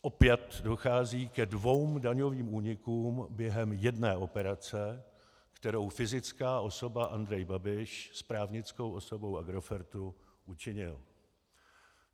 Opět dochází ke dvěma daňovým únikům během jedné operace, kterou fyzická osoba Andrej Babiš s právnickou osobou Agrofert učinil.